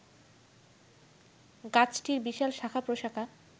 গাছটির বিশাল শাখা-প্রশাখা